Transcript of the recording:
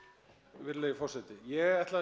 virðulegi forseti ég ætla